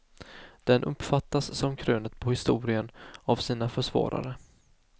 Den uppfattas som krönet på historien av sina försvarare.